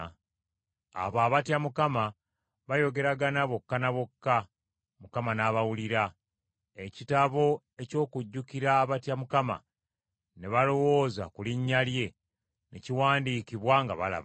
Abo abatya Mukama bayogeragana bokka ne bokka, Mukama n’abawulira. Ekitabo eky’okujjukira abatya Mukama ne balowooza ku linnya lye, ne kiwandiikibwa ng’alaba.